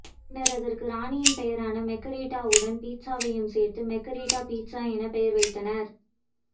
பின்னர் அதற்கு ராணியின் பெயரான மெர்கரிட்டாவுடன் பீட்சாவையும் சேர்த்து மெர்கரிட்டா பீட்சா என பெயர் வைத்தனர்